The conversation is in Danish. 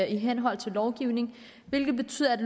i henhold til lovgivningen hvilket betyder at